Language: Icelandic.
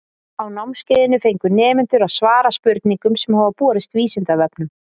Á námskeiðinu fengu nemendur að svara spurningum sem hafa borist Vísindavefnum.